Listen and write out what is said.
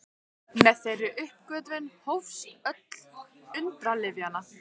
Með þeirri uppgötvun hófst öld undralyfjanna.